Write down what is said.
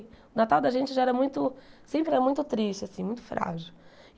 O Natal da gente já era muito... Sempre era muito triste, assim, muito frágil.